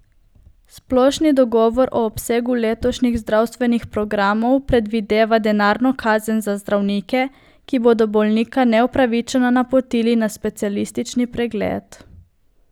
Splošni dogovor o obsegu letošnjih zdravstvenih programov predvideva denarno kazen za zdravnike, ki bodo bolnika neupravičeno napotili na specialistični pregled.